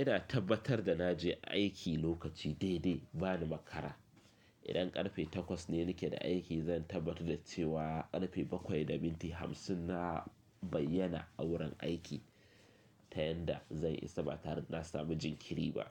Ina tabbatar da na je aiki lokaci dai dai bani makara. Idan karfe takwas ne nake da aiki, zan tabbatar da cewa karfe bakwai da minti hamsin na bayyana a wurin aiki, ta yanda zai isa ba tare da na samu jinkiri ba.